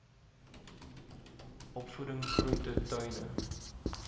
opvoeding groente tuine